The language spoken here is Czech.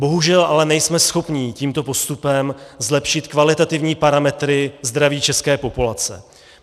Bohužel ale nejsme schopni tímto postupem zlepšit kvalitativní parametry zdraví české populace.